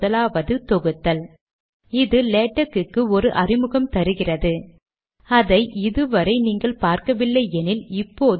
முதல் வரியானது இது லெட்டர் டாக்குமென்ட் க்ளாஸ் ஐ சார்ந்தது என்கிறது